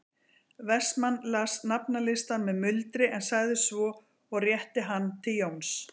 Vestmann las nafnalistann með muldri en sagði svo og rétti hann til Jóns